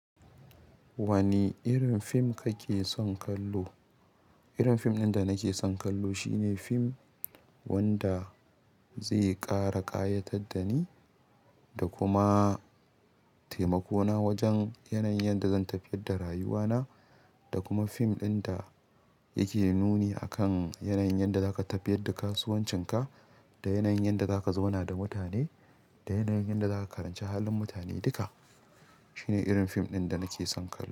Wani irin fim kake son kallo? Irin fim ɗin da nake son kallo shine fim wanda zai ƙara ƙayatar da ni da kuma taimako na wajen yanayin da zan tafiyar da rayuwa na. Da kuma fim ɗin da yake nuni akan yanayin da za ka tafiyar da kasuwancin ka da yanayin da za ka zauna da mutane da yanayin da za ka karanci halin mutane duka. Shine irin fim ɗin da nake son kallo.